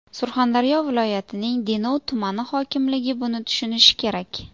Surxondaryo viloyatining Denov tumani hokimligi buni tushunishi kerak.